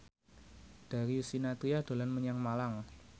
Darius Sinathrya dolan menyang Malang